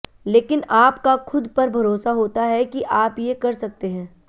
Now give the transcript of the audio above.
लेकिन आप का खुद पर भरोसा होता है कि आप ये कर सकते हैं